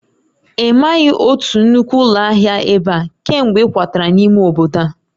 Ị maghị otu nnukwu ụlọ ahịa ebe a kemgbe ị kwatara n'ime obodo a?